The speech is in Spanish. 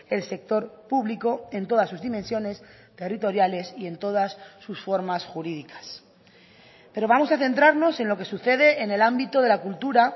el sector público en todas sus dimensiones territoriales y en todas sus formas jurídicas pero vamos a centrarnos en lo que sucede en el ámbito de la cultura